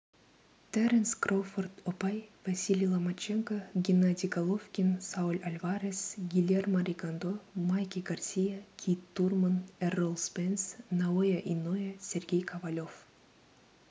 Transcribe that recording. теренс кроуфорд ұпай василий ломаченко геннадий головкин сауль альварес гильермо ригондо майки гарсия кит турман эррол спенс наоя иноуэ сергей ковалев